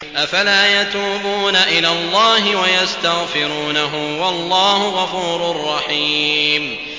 أَفَلَا يَتُوبُونَ إِلَى اللَّهِ وَيَسْتَغْفِرُونَهُ ۚ وَاللَّهُ غَفُورٌ رَّحِيمٌ